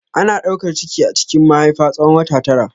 Ana daukar ciki a cikin mahaifa tsawon wata tara.